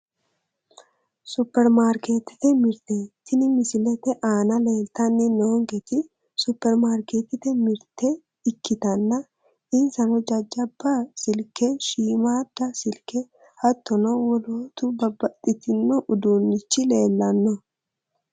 Supermarketete mirte tini misilete aana leeltanni noonketi supermarketete mirte ikkitanna insano jajjabba silke shiimmaadda silke hattono wolootturi babbaxxino uduunnichi leellanno